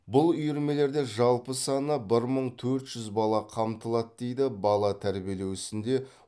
бұл үйірмелерде жалпы саны бір мың төрт жүз бала қамтылады дейді бала тәрбиелеу ісінде